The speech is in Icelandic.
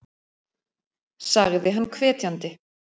sagði hann hvetjandi.